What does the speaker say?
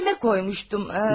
Cibimə qoymuşdum.